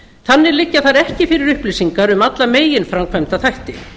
þannig liggja þar ekki fyrir upplýsingar um alla meginframkvæmda þætti